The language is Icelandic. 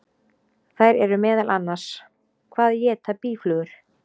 Þær eru meðal annars: Hvað éta býflugur?